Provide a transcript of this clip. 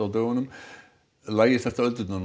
dögunum lægir þetta öldurnar